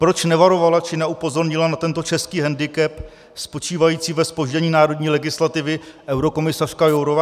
Proč nevarovala či neupozornila na tento český hendikep spočívající ve zpoždění národní legislativy eurokomisařka Jourová?